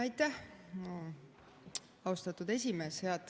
Aitäh, austatud esimees!